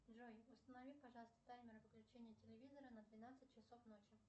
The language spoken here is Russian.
джой установи пожалуйста таймер выключения телевизора на двенадцать часов ночи